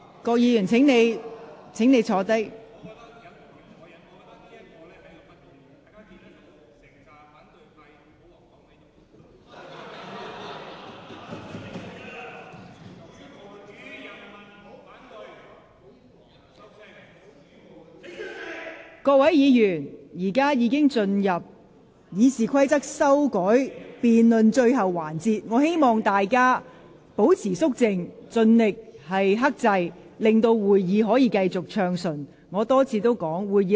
各位議員，本會現在已進入有關修改《議事規則》辯論的最後環節，請各位保持肅靜，盡量克制，令會議能繼續暢順進行。